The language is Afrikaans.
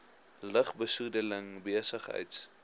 lug besoedeling besigheids